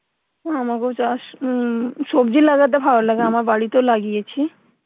আমাগো চাষ উম সবজি লাগাতে ভালো লাগে আমার বাড়িতেও লাগিয়েছি